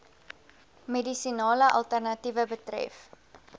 medisinale alternatiewe betref